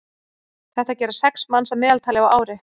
þetta gera sex manns að meðaltali á ári